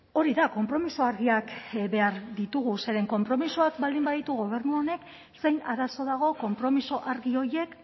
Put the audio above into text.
hori da konpromiso argiak behar ditugu zeren konpromisoak baldin baditu gobernu honek zein arazo dago konpromiso argi horiek